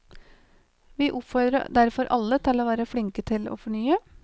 Vi oppfordrer derfor alle til å være flinke til å fornye.